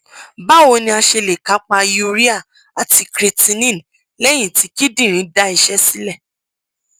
báwo ni a ṣe lè kápá urea àti creatinine lẹyìn tí kíndìnrín da iṣẹ sílẹ